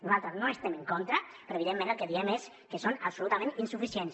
nosaltres no hi estem en contra però evidentment el que diem és que són absolutament insuficients